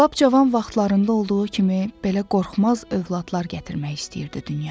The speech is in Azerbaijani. Lap cavan vaxtlarında olduğu kimi belə qorxmaz övladlar gətirmək istəyirdi dünyaya.